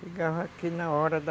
Chegava aqui na hora da...